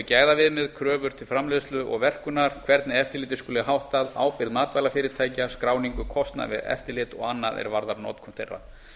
gæðaviðmið kröfur til framleiðslu og verkunar hvernig eftirliti skuli háttað ábyrgð matvælafyrirtækja skráningu kostnað við eftirlit og annað er varðar notkun þeirra